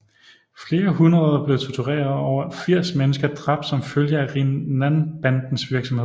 Flere hundrede blev tortureret og over 80 mennesker dræbt som følge af Rinnanbandens virksomhed